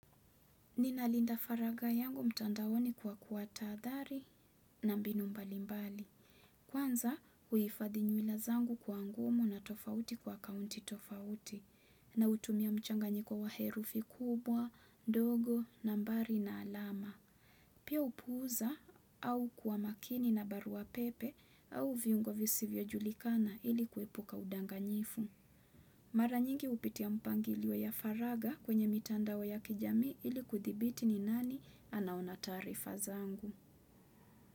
Ninalinda faragha yangu mtandaoni kwa kuatahadhari na mbinu mbali mbali. Kwanza, huifadhili ila zangu kwa ngumu na tofauti kwa kaunti tofauti na hutumia mchanganyiko wa herufi kubwa, dogo, nambari na alama. Pia upuuza au kuwa makini na barua pepe au viungo visivyojulikana ili kuepuka udanganyifu. Mara nyingi hupitia mpangilio ya faragha kwenye mitandao ya kijami ili kuthibiti ni nani anaona taarifa zangu.